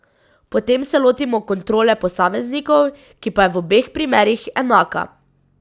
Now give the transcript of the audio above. Potem se lotimo kontrole posameznikov, ki pa je v obeh primerih enaka.